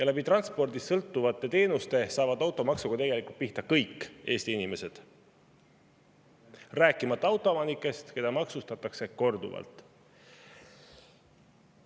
Transpordist sõltuvate teenuste kaudu saavad automaksuga tegelikult pihta kõik Eesti inimesed, rääkimata autoomanikest, keda maksustatakse korduvalt.